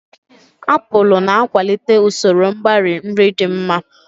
Apụlu na-akwalite usoro mgbari nri dị mma.